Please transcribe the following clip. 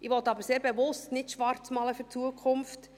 Ich will aber sehr bewusst nicht schwarzmalen für die Zukunft.